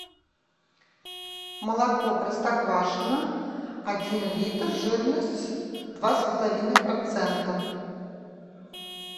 молоко простоквашино один литр жирность два с половиной процента